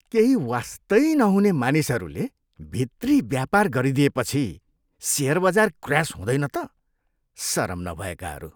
केही वास्तै नहुने मानिसहरूले भित्री व्यापार गरिएदिएपछि सेयर बजार क्र्यास हुँदैन त? सरम नभएकाहरू!